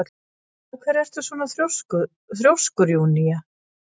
Af hverju ertu svona þrjóskur, Júnía?